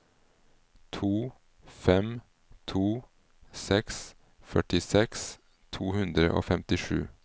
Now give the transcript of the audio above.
to fem to seks førtiseks to hundre og femtisju